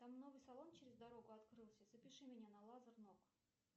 там новый салон через дорогу открылся запиши меня на лазер ног